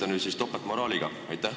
Kas tegemist on topeltmoraaliga?